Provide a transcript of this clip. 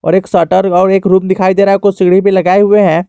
और एक शटर और एक रूम दिखाई दे रहा कुछ सीढ़ी भी लगाए हुए हैं।